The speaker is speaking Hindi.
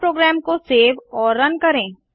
अब प्रोग्राम को सेव और रन करें